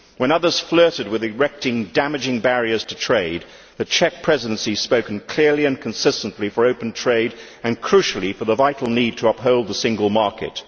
When others flirted with erecting damaging barriers to trade, the Czech Presidency has spoken clearly and consistently for open trade and, crucially, for the vital need to uphold the single market.